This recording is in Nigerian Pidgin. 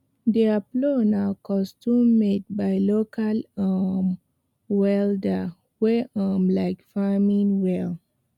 their plow na custommade by local um welder wey um like farming well